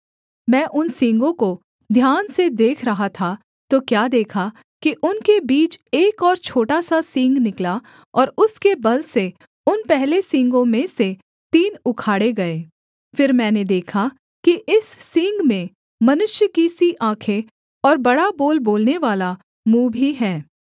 मैं उन सींगों को ध्यान से देख रहा था तो क्या देखा कि उनके बीच एक और छोटा सा सींग निकला और उसके बल से उन पहले सींगों में से तीन उखाड़े गए फिर मैंने देखा कि इस सींग में मनुष्य की सी आँखें और बड़ा बोल बोलनेवाला मुँह भी है